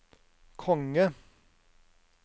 konge